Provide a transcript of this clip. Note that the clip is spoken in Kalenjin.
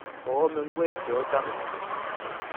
oome ngwek cheochome